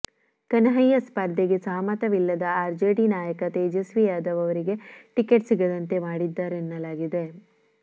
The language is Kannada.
ಕನ್ಹಯ್ಯಾ ಸ್ಪರ್ಧೆಗೆ ಸಹಮತವಿಲ್ಲದ ಆರ್ಜೆಡಿ ನಾಯಕ ತೇಜಸ್ವಿ ಯಾದವ್ ಅವರಿಗೆ ಟಿಕೆಟ್ ಸಿಗದಂತೆ ಮಾಡಿದ್ದಾರೆನ್ನಲಾಗಿದೆ